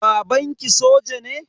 Babanki soja ne?